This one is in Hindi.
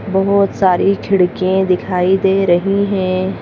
बहुत सारी खिड़किए दिखाई दे रही हैं।